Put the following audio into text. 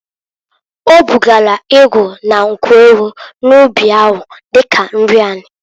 O bugara ịgụ na nkwu ewu n'ụbị ahụ, dika nri ani.